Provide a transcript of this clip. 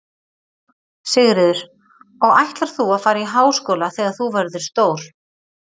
Sigríður: Og ætlar þú að fara í háskóla þegar þú verður stór?